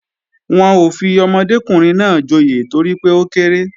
Wọn ò fi ọmọdékùnrin náà joyè torí pé ó kéré